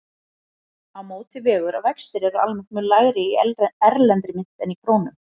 Á móti vegur að vextir eru almennt mun lægri í erlendri mynt en í krónum.